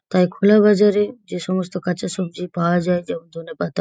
তাই খোলা বাজারে যে সমস্ত কাঁচা সবজি পাওয়া যায় যেমন ধনেপাতা।